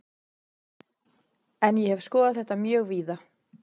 En ég hef skoðað þetta mjög víða.